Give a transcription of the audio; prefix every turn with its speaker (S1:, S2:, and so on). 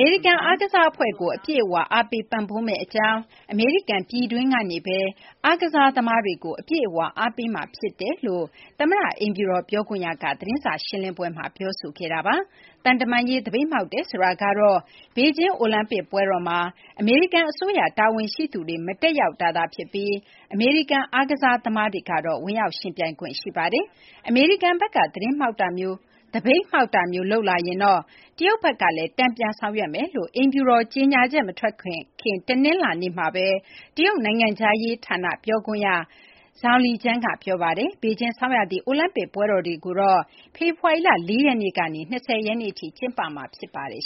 S1: မေရိကန် အားကစားအဖွဲ့ကို အပြည့်အဝ အားပေး ပံ့ပိုးမယ့်အကြောင်း၊ အမေရိကန် ပြည်တွင်းကနေပဲ အမေရိကန် အားကစားသမားတွေကို အပြည့်အဝ အားပေးမှာဖြစ်ကြောင်း အမေရိကန် သမ္မတအိမ်ဖြူတော် ပြောခွင့်ရ Psaki က သတင်းစာရှင်းလင်းပွဲမှာ ပြောဆိုခဲ့ပါတယ်။ သံတမန်ရေး သပိတ်မှောက်တယ် ဆိုတာကတော့ ဘေဂျင်း အိုလံပစ်ပွဲတော်မှာ အမေရိကန်အစိုးရ တာဝန်ရှိသူတွေ မတက်ရောက်တာသာဖြစ်ပြီး အမေရိကန် အားကစားသမားတွေကတော့ ဝင်ရောက်ယှဉ်ပြိုင်ခွင့် ရှိပါတယ်။ အမေရိကန်ဘက်က သပိတ်မှောက်တာမျိုး လုပ်လာရင်တော့ တရုတ်ဘက်ကလည်း တန်ပြန်ဆောင်ရွက်မယ်လို့ အိမ်ဖြူတော် ကြေညာချက် မထွက်ခင် တနင်္လာနေ့မှာပဲ တရုတ်နိုင်ငံခြားရေးဌာန ပြောခွင့်ရ Zhao Lijian က ပြောပါတယ်။ ဘေဂျင်း ဆောင်းရာသီ အိုလံပစ်ပွဲတော်တွေကိုတော့ ဖေဖော်ဝါရီလ ၄ ရက်နေ့ကနေ ၂၀ ရက်နေ့ထိ ကျင်းပမှာ ဖြစ်ပါတယ်